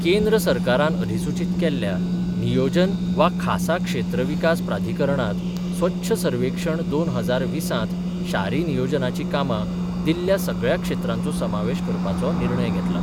केंद्र सरकारान अधिसूचित केल्ल्या नियोजन वा खासा क्षेत्र विकास प्राधिकरणात स्वच्छ सर्वेक्षण दोन हजार वीसात शारी नियोजनाची कामा दिल्ल्या सगळ्या क्षेत्रांचो समावेश करपाचो निर्णय घेतला.